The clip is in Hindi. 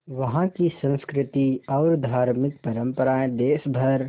वहाँ की संस्कृति और धार्मिक परम्पराएं देश भर